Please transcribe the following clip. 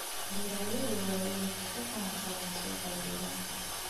Beeralayda waaweyni waxay ka ganacsadaan suuqa deegaanka.